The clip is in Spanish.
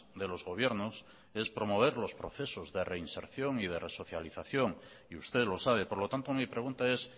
de los gobiernos es promover los procesos de reinserción y de resocialización y usted lo sabe por lo tanto mi pregunta es